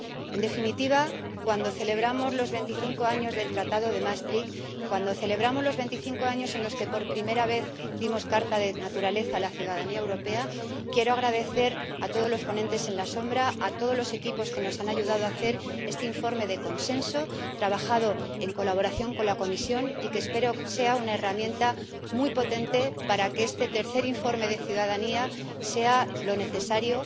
En definitiva, cuando celebramos los 25 años del Tratado de Maastricht, cuando celebramos los 25 años en los que por primera vez dimos carta de naturaleza a la ciudadanía europea, quiero darles las gracias a todos los ponentes alternativos, a todos los equipos que nos han ayudado a hacer este informe de consenso, trabajado en colaboración con la Comisión, que espero que sea una herramienta muy potente para que este tercer informe sobre la ciudadanía sea lo que necesitamos